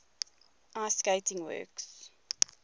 ice skating works